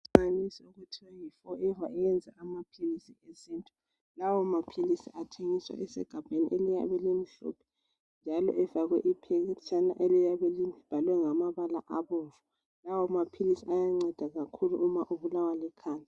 Okuthiwa yi forever eyenza amaphilisi esintu lawo maphilisi athengiswa esigabeni elimhlophe njalo efakwe iphetshana eliyabe libhalwe ngamabala abomvu lawo maphilisi ayanceda kakhulu uma ubulawa likhanda.